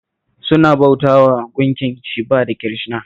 Suna bautawa Gunkin Shiba da Kirishina